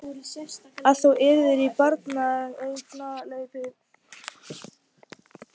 Að þú yrðir í barneignarleyfi.